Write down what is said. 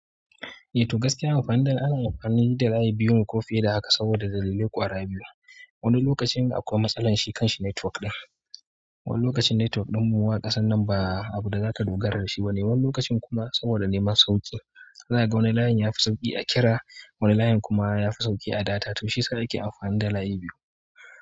To gaskiya amfanin za'ayi ana amfani da rayi biyun ko fiye da haka saboda dalilai ƙwara biyu. Wani lokacin akwai matsala shi kan shi network ɗin. Wani lokacin network ɗin muma ƙasan nan ba abuda zaka dogara da shi ba ne. Wani lokacin kuma saboda neman sauƙi. Zaka ga wani layin ya fi sauƙi a kira, wani layin kuma ya fi sauƙi a data. To shiyasa ake amfani da layi biyu.